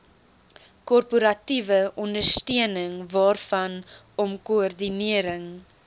korporatiewe ondersteuningwaarvanom koördinering